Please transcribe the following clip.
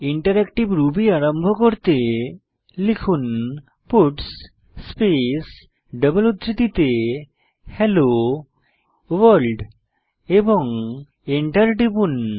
interactive ruby আরম্ভ করতে লিখুন পাটস স্পেস ডাবল উদ্ধৃতিতে হেলো ভোর্ল্ড এবং এন্টার টিপুন